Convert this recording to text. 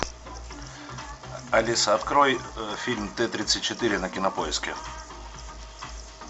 алиса открой фильм т тридцать четыре на кинопоиске